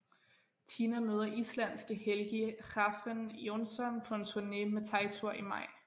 Tina møder islandske Helgi Hrafn Jónsson på en turné med Teitur i maj